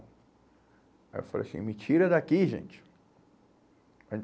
Aí eu falei assim, me tira daqui, gente.